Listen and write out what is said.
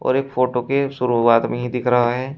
और एक फोटो के शुरुआत में ही दिख रहा है।